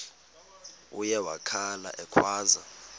uye wakhala ekhwaza